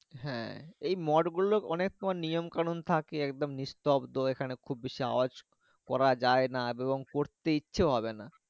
হ্যাঁ মট গুলো অনেক রকম নিয়ম থাকে একদম নিঃশব্দ এখানে খুব বেশি ওয়াজ করা যাই না এবং করতে ইচ্ছে হবে না